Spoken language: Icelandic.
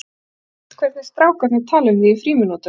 Ég hef heyrt hvernig strák- arnir tala um þig í frímínútunum.